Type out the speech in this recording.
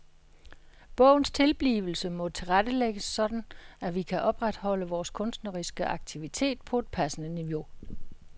Bogens tilblivelse må tilrettelægges sådan at vi kan opretholde vores kunstneriske aktivitet på et passende niveau.